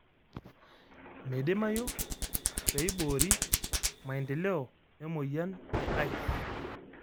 Meidimayu peeibori maendeleo e emoyian e ICE.